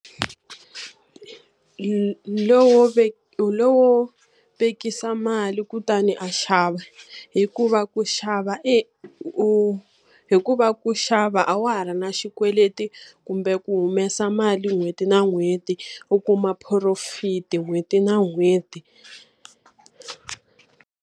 Hi lowo hi lowo vekisa mali kutani a xava. Hikuva ku xava u hikuva ku xava a wa ha ri na xikweleti kumbe ku humesa mali n'hweti na n'hweti, u kuma purofiti n'hweti na n'hweti.